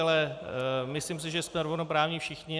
Ale myslím si, že jsme rovnoprávní všichni.